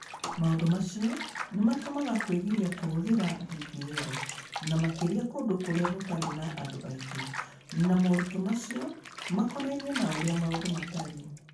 Maũndũ macio nĩ matũmaga kwĩgiria kũhũthĩra DPL, na makĩria kũndũ kũrĩa gũtarĩ na andũ aingĩ, na moritũ macio makonainie na ũrĩa maũndũ matariĩ.